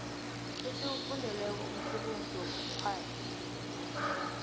esiwufundeleko umsebenzi wobukghwari